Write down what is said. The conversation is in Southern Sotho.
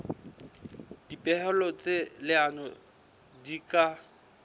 dipehelo tsa leano di ka